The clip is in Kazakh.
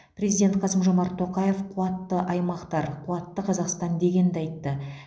президент қасым жомарт тоқаев қуатты аймақтар қуатты қазақстан дегенді айтты